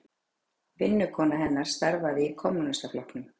Vinnukona hennar starfaði í Kommúnistaflokknum.